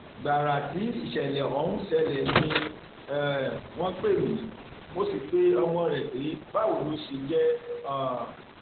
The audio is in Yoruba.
gbàrà tí ìṣẹlẹ ọhún ṣẹlẹ ni um wọn pè mí mo sì pe ọmọ rẹ pé báwo ló ṣe jẹ um